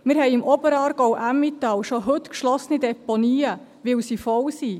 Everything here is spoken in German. Wir haben im Oberaargau/Emmental schon heute geschlossene Deponien, weil sie voll sind.